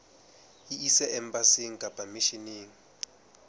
e ise embasing kapa misheneng